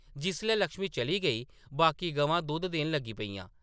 जिसलै लक्ष्मी चली गेई, बाकी गवां दुद्ध देन लगी पेइयां ।